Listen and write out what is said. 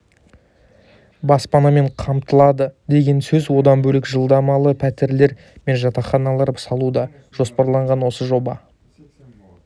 баспанамен қамтылады деген сөз одан бөлек жалдамалы пәтерлер мен жатақханалар салу да жоспарланған осы жоба